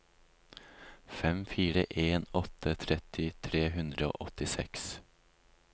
fem fire en åtte tretti tre hundre og åttiseks